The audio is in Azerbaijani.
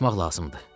Susmaq lazımdır.